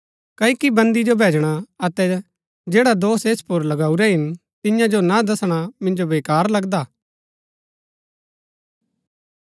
क्ओकि बन्दी जो भैजणा अतै जैडा दोष ऐस पुर लगाऊरै हिन तियां जो ना दसणा मिन्जो बेकार लगदा